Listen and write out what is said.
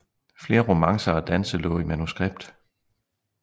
Flere romancer og danse lå i manuskript